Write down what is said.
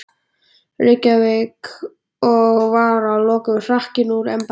Reykjavík, og var að lokum hrakinn úr embætti.